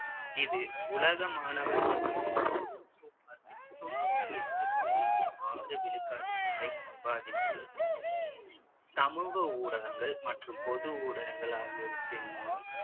இது உலக மாணவர் தொகையில் சுமார் தொண்ணூத்தி எட்டு புள்ளி ஆறு விழுக்காட்டினரை பாதித்துள்ளது சமூக ஊடகங்கள் மற்றும் பொது ஊடகங்கள் ஆகியவற்றின் மூலம்